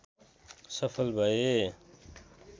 सफल भए